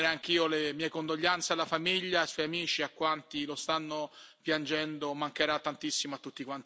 Non posso che esprimere anche io le mie condoglianze alla famiglia, ai suoi amici e a quanti lo stanno piangendo.